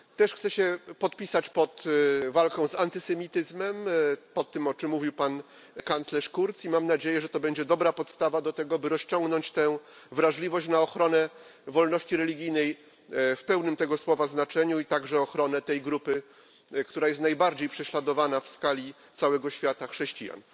Chcę się też podpisać pod walką z antysemityzmem, pod tym, o czym mówił Pan kanclerz Kurz, i mam nadzieję, że to będzie dobra podstawa do tego, by rozciągnąć tę wrażliwość na ochronę wolności religijnej w pełnym tego słowa znaczeniu, a także ochronę tej grupy, która jest najbardziej prześladowana w skali całego świata chrześcijan.